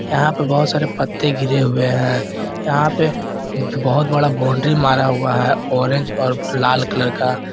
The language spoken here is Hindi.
यहां पे बहोत सारे पत्ते गिरे हुए हैं यहां पे बहोत बड़ा बाउंड्री मारा हुआ है ऑरेंज और लाल कलर का।